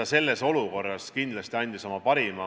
Ta selles olukorras kindlasti andis oma parima.